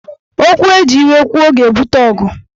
Okwu eji iwe kwuo ga-ebute ọgụ